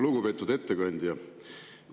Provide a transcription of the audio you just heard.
Lugupeetud ettekandja!